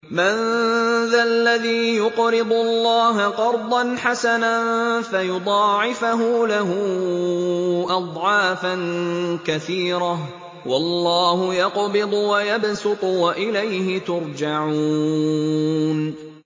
مَّن ذَا الَّذِي يُقْرِضُ اللَّهَ قَرْضًا حَسَنًا فَيُضَاعِفَهُ لَهُ أَضْعَافًا كَثِيرَةً ۚ وَاللَّهُ يَقْبِضُ وَيَبْسُطُ وَإِلَيْهِ تُرْجَعُونَ